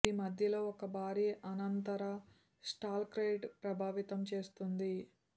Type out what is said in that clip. ఇది మధ్యలో ఒక భారీ అనంతర స్టాలక్టైట్ ప్రభావితం చేస్తుంది